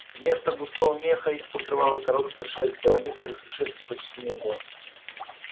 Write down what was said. вместо густого меха их покрывала короткая шерсть а у некоторых и шерсти почти не было